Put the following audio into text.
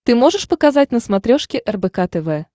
ты можешь показать на смотрешке рбк тв